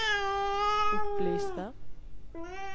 opplyste